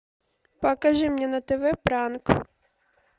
покажи мне на тв пранк